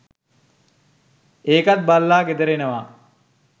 ඒකත් බලලා ගෙදර එනවා